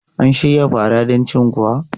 An shirya farar don cin kuwa?